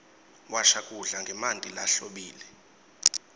washa kudla ngemanti lahlobile